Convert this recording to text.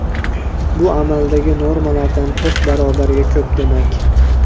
Bu amaldagi normalardan to‘rt barobarga ko‘p demak.